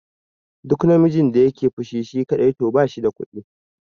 Duk namijin da yake fushi shi kaɗai to bashi da kuɗi